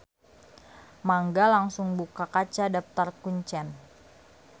Mangga langsung buka kaca Daptar kuncen.